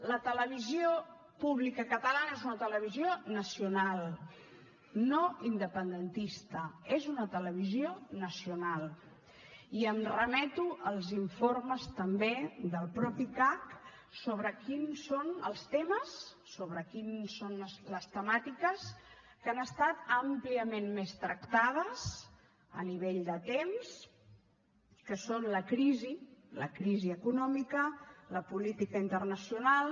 la televisió pública catalana és una televisió nacional no independentista és una televisió nacional i em remeto als informes també del mateix cac sobre quins són els temes sobre quines són les temàtiques que han estat àmpliament més tractades a nivell de temps que són la crisi la crisi econòmica la política internacional